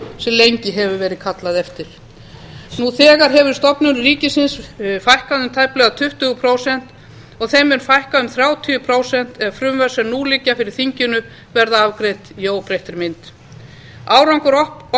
sem lengi hefur verið kallað eftir nú þegar hefur stofnunum ríkisins fækkað um tæplega tuttugu prósent og þeim mun fækka um þrjátíu prósent ef frumvörp sem nú liggja fyrir þinginu verða afgreidd í óbreyttri mynd árangur